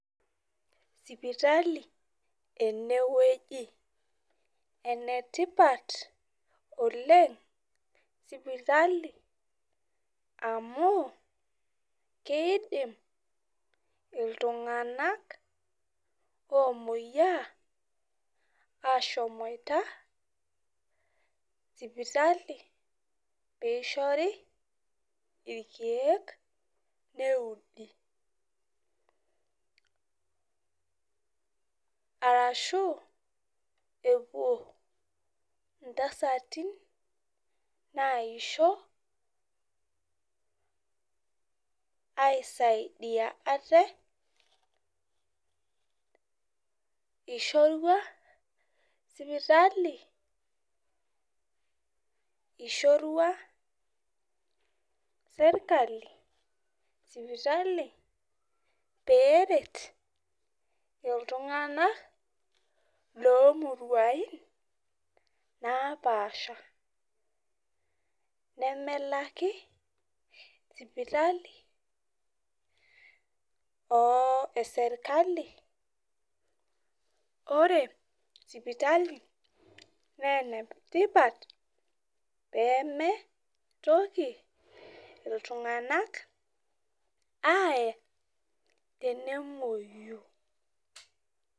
Sipitali enewueji . Enetipat oleng sipitali amu kidim iltunganak omoyiaa ashomoita sipitali pishori irkiek neudi arashu epuo iuntasati nisho aisidaidia ate , ishorua sipitali , ishorua sirkali sipitali peret iltunganak lomurua napasha nemelaki sipitali osirkali . Ore sipitali naa enetipat pemeitoki iltunganak ae tenemwoyu.